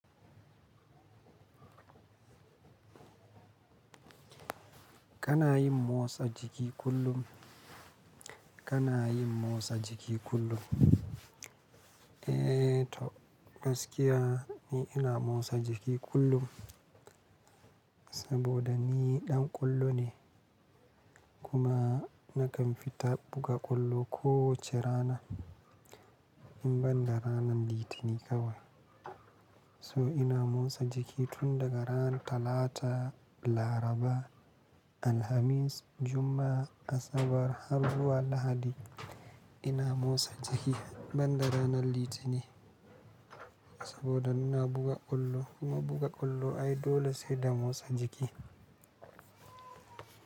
Kana yin motsa jiki kullum? Kana yin motsa jiki kullum? Eh to gaskiya ni ina motsa jiki kullum saboda ni ɗan ƙwallo ne kuma nakan fita buga ƙwallo kowace rana in ban da ranar Litinin kawai. To ina motsa jiki tun daga ran Talata, Laraba, Alhamis, Juma'a, Asabar, har zuwa Lahadi. Ina motsa jiki ban da ranar Litinin saboda ina buga ƙwallo kuma buga ƙwallo ai dole sai da motsa jiki.